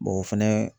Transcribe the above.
o fɛnɛ